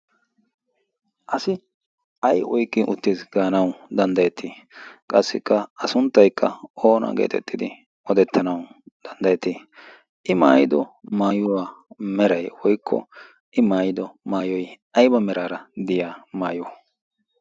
asi ay iki uttiis gaanau danddayettii qassikka a sunttaikka oona geetettidi odettanau danddayettii i maayido maayuwaa meray i maayido maayoi aiba meraara diya maayo?